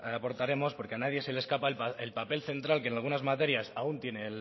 aportaremos porque a nadie se le escapa el papel central que en algunas materias aún tiene